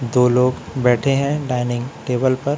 दो लोग बैठे हैं डाइनिंग टेबल पर।